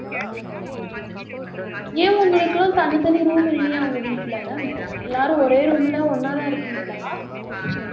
ஏன் உங்களுக்கு எல்லாம் தனித்தனி room இல்லையா உங்க வீட்ல எல்லாரும் ஒரே room ல ஒண்ணா தான் இருக்கீங்களா